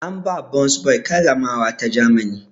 An ba burns boy karramawa ta Grammy.